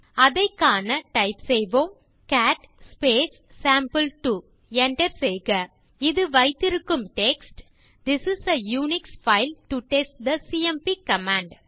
அதை காண டைப் செய்வோம் கேட் சேம்பிள்2 enter செய்க இது வைத்திருக்கும் text this is a Unix file to test the CMP command